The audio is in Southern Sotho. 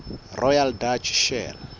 royal dutch shell